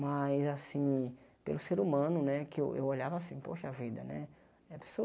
Mas, assim, pelo ser humano, né, que eu eu olhava assim, poxa vida, né? Já pensou